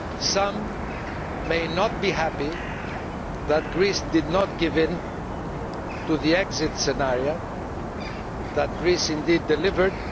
Some may not be happy that Greece did not give in to the exit scenario that Greece indeed delivered.